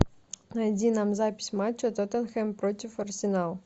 найди нам запись матча тоттенхэм против арсенал